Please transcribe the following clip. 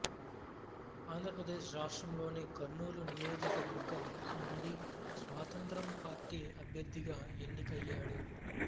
ఆంధ్రప్రదేశ్ రాష్ట్రంలోని కర్నూలు నియోకవర్గం నుండి స్వతంత్ర పార్టీ అభ్యర్థిగా ఎన్నికయ్యాడు